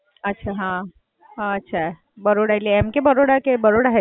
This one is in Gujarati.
અચ્છા, હાં. અચ્છા, બરોડા એટલે એમ કે બરોડા કે બરોડા highschool?